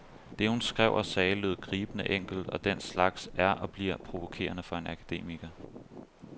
Det, hun skrev og sagde, lød gribende enkelt, og den slags er og bliver provokerende for en akademiker.